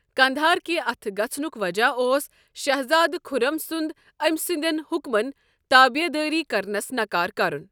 قنٛدھار کہِ اَتھٕ گَژھنُک وجہ اوس شہزادٕ خُرم سُنٛد أمۍ سٕنٛدٮ۪ن حُکمن تٲبیدٲری کرنس نکار کرن۔